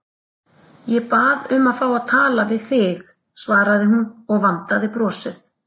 Ég bað um að fá að tala við þig, svaraði hún og vandaði brosið.